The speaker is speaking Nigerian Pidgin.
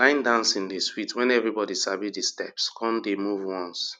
line dancing dey sweet wen everybody sabi the steps come dey move once